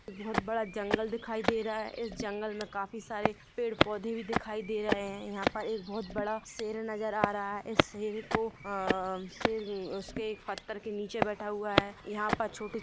बोहत बड़ा जंगल दिखाई दे रहा है इस जंगल में काफी सारे पेड़ पोधे भी दिखाई दे रहे है यहाँ पर एक बहुत बड़ा शेर नजर आ रहा है इस शेर को अ-शेर उसके पत्थर के नीचे बैठा हुआ है यहाँ पर छोटे--